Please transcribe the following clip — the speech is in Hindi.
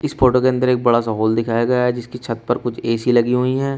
इस फोटो के अन्दर एक बड़ा सा हॉल दिखाया गया है जिसकी छत पर एक ए_सी लगी हुईं हैं।